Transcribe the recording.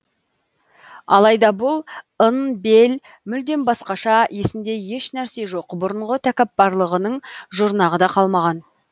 алайда бұл ын бель мүлдем басқаша есінде ешнәрсе жоқ бұрынғы тәкаппарлығының жұрнағы да қалмаған